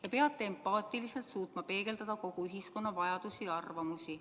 Te peate empaatiliselt suutma peegeldada kogu ühiskonna vajadusi ja arvamusi.